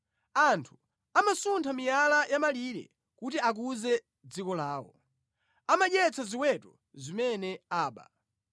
Anthu amasuntha miyala ya mʼmalire, kuti akuze dziko lawo; amadyetsa ziweto zimene aba.